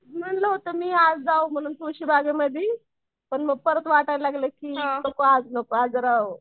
म्हणलं होतं मी आज जाऊ म्हणून तुळशीबागेमध्ये मग परत वाटायला लागलं की नको आज नको आज जरा